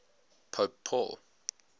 pope paul